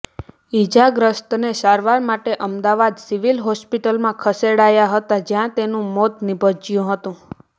ઈજાગ્રસ્તને સારવાર માટે અમદાવાદ સિવીલ હોસ્પિટલમાં ખસેડાયા હતા જયાં તેનું મોત નીપજ્યું હતું